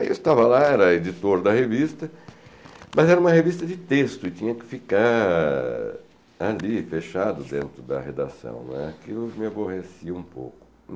Aí eu estava lá, era editor da revista, mas era uma revista de texto e tinha que ficar ali fechado dentro da redação, né, que eu me aborrecia um pouco.